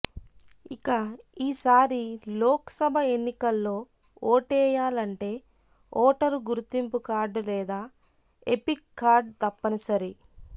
ఇక ఈసారి లోక్ సభ ఎన్నికల్లో ఓటేయాలంటే ఓటరు గుర్తింపు కార్డు లేదా ఎపిక్ కార్డు తప్పనిసరి